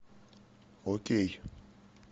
окей